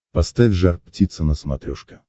поставь жар птица на смотрешке